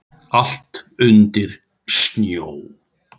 Allt undir snjó.